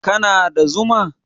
kana da Zuma?